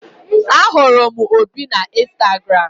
Ahụrụ m Obi na Instagram.